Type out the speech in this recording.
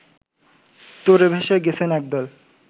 তোড়ে ভেসে গেছেন একদল